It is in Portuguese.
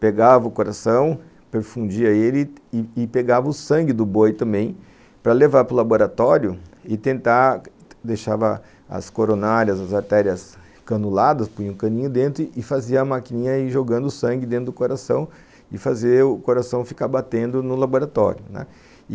pegava o coração, perfundia ele e e pegava o sangue do boi também para levar para o laboratório e tentar... deixava as coronárias, as artérias canuladas, punha um caninho dentro e fazia a maquininha aí jogando o sangue dentro do coração e fazer o coração ficar batendo no laboratório, né.